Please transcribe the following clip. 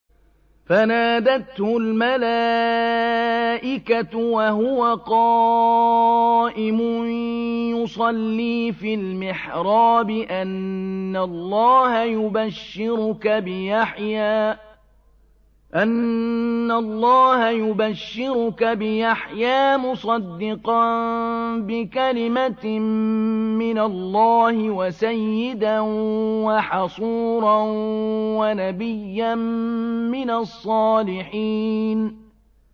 فَنَادَتْهُ الْمَلَائِكَةُ وَهُوَ قَائِمٌ يُصَلِّي فِي الْمِحْرَابِ أَنَّ اللَّهَ يُبَشِّرُكَ بِيَحْيَىٰ مُصَدِّقًا بِكَلِمَةٍ مِّنَ اللَّهِ وَسَيِّدًا وَحَصُورًا وَنَبِيًّا مِّنَ الصَّالِحِينَ